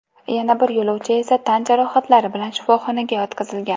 Yana bir yo‘lovchi esa tan jarohatlari bilan shifoxonaga yotqizilgan.